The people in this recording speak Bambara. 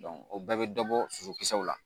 o bɛɛ bɛ dɔ bɔ sosokisɛw la